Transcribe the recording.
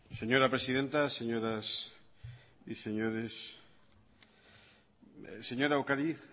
señora presidenta señoras y señores señora ocariz